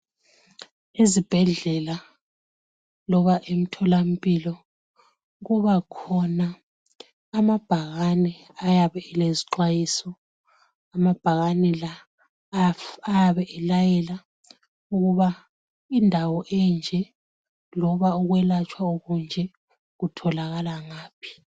Ezibhedlela loba emtholampilo kuba khona amabhakane ayabe elezixwayiso. Amabhakani la ayabe elayela ukuba indawo enje loba ukwelatshwa okunje kutholakala ngaphi.